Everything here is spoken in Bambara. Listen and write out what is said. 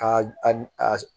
Ka a ni a